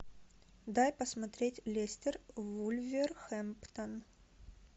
дай посмотреть лестер вулверхэмптон